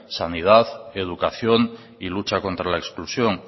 sanidad educación y lucha contra la exclusión